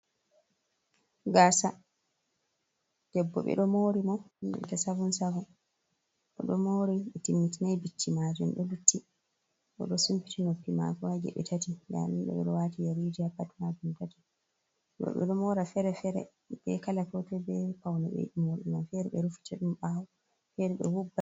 Gasa debbo bedo mori bordi enanta 77, Odo Mori be timmitinai bicci majum do lutti bodo sumbiti noppi mako je be tati danidoe rowati yaruja pat majum tati jebbo be do mora fere fere be kala foto be paune be morma fere be rufu cadum bawo fere be.